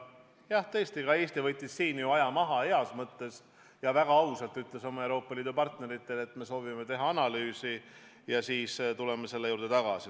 Jah, tõesti, Eesti võttis heas mõttes aja maha ja ütles oma Euroopa Liidu partneritele väga ausalt, et me soovime teha analüüsi ja seejärel tuleme selle teema juurde tagasi.